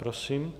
Prosím.